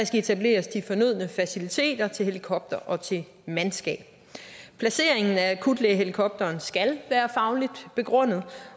skal etableres de fornødne faciliteter til helikopter og til mandskab placeringen af akutlægehelikopteren skal være fagligt begrundet